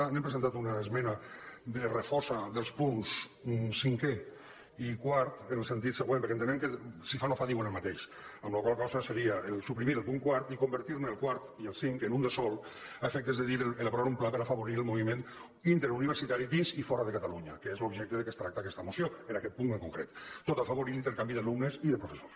hem presentat una esmena de refosa dels punts cinquè i quart en el sentit següent perquè ente·nem que si fa no fa diuen el mateix amb la qual cosa seria suprimir el punt quart i convertir el quart i el cinc en un de sol a efectes de dir aprovar un pla per afa·vorir el moviment interuniversitari dins i fora de cata·lunya que és l’objecte de què tracta aquesta moció en aquest punt en concret tot i afavorir l’intercanvi d’alumnes i de professors